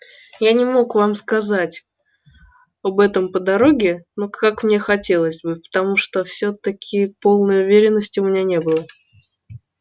я не мог вам сказать об этом по дороге но как мне хотелось бы потому что всё-таки полной уверенности у меня не было